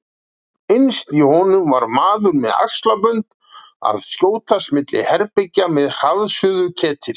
Innst í honum var maður með axlabönd að skjótast milli herbergja með hraðsuðuketil.